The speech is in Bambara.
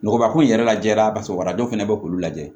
Nɔgɔba ko in yɛrɛ lajɛ a basabɔra dɔw fana bɛ k'ulu lajɛ